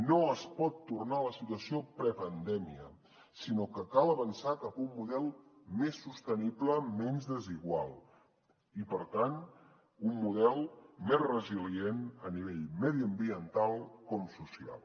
no es pot tornar a la situació prepandèmia sinó que cal avançar cap a un model més sostenible menys desigual i per tant un model més resilient a nivell mediambiental com social